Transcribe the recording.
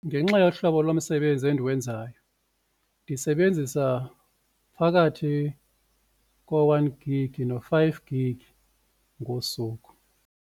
Ngenxa yohlobo lomsebenzi endiwenzayo ndisebenzisa phakathi ko-one gig no-five gig ngosuku.